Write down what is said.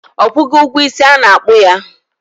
Ọ kwụgo ụgwọ isi a kpụ ya?